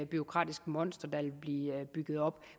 bureaukratisk monster der ville blive bygget op